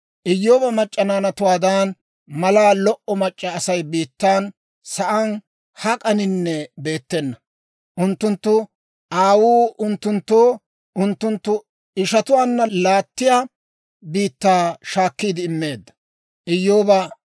Iyyooba mac'c'a naanatuwaadan malaa lo"o mac'c'a Asay biittan sa'aan hak'aninne beettena. Unttunttu aawuu unttunttoo unttunttu ishatuwaana laattiyaa biittaa shaakkiide immeedda.